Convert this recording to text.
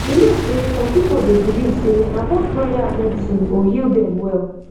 you know sey some people dey believe sey na both prayer and medicine go heal dem well